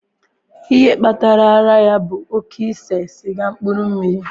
Ihe kpatara ara ya bụ oke ise siga mmkpuru mmiri.